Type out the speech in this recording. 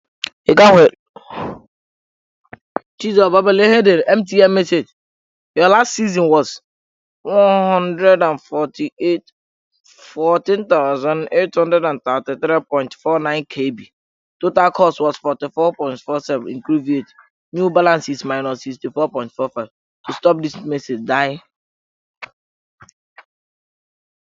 Eke ahụ eloola nwaanyị ahụ tupu di ya abịa.